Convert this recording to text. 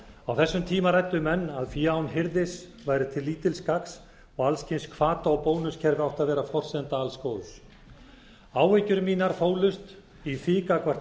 á þessum tíma ræddu menn að fé án hirðis væri til lítils gagns og alls kyns hvata og bónuskerfi áttu að vera forsenda alls góðs áhyggjur mínar fólust á því gagnvart